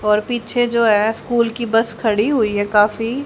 और पीछे जो है स्कूल की बस खड़ी हुई है काफी।